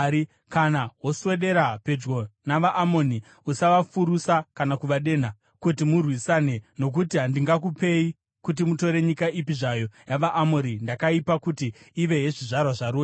Kana woswedera pedyo navaAmoni, usavafurusa kana kuvadenha kuti murwisane, nokuti handingakupei kuti mutore nyika ipi zvayo yavaAmori. Ndakaipa kuti ive yezvizvarwa zvaRoti.”